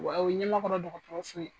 Wa o ɲɛmakɔrɔ dɔgɔtɔrɔso.